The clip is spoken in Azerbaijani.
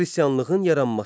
Xristianlığın yaranması.